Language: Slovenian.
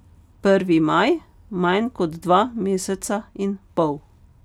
Prvi maj, manj kot dva meseca in pol.